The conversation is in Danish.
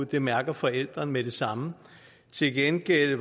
det mærker forældre med det samme til gengæld